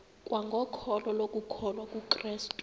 kwangokholo lokukholwa kukrestu